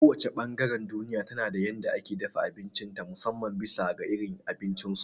Ko wace ɓangaren duniya tana da yadda ake dafa abinci ta musamman bisa ga irin abincin su